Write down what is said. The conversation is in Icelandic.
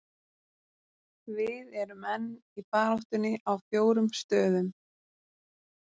Við erum enn í baráttunni á fjórum stöðum.